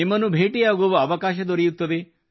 ನಿಮ್ಮನ್ನು ಭೇಟಿಯಾಗುವ ಅವಕಾಶ ದೊರೆಯುತ್ತದೆ